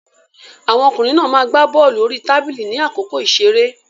Àwọn ọkùnrin náà ma gbá bọ́lù orí tábìlì ní àkókò ìṣeré.